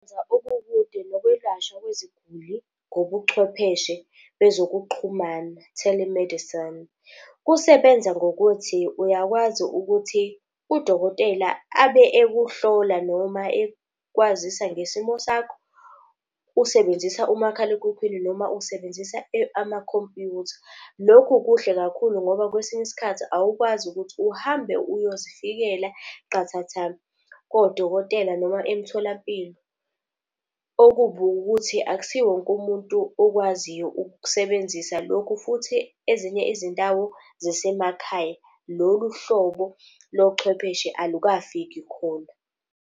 Nokwelashwa kweziguli ngobuchwepheshe bezokuxhumana, telemedicine. Kusebenza ngokuthi uyakwazi ukuthi udokotela abe ekuhlola noma ekwazisa ngesimo sakho. Usebenzisa umakhalekhukhwini noma usebenzisa amakhompyutha. Lokhu kuhle kakhulu ngoba kwesinye iskhathi awukwazi ukuthi uhambe uyozifikela qathatha kodokotela noma emtholampilo. Okubi wukuthi akusiwo wonke umuntu okwaziyo ukusebenzisa lokho, futhi ezinye izindawo zisemakhaya. Lolu hlobo lobuchwepheshe alukafiki khona.